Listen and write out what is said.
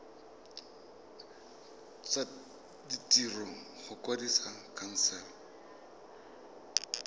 tsa ditiro go kwadisa khansele